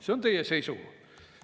See on teie seisukoht.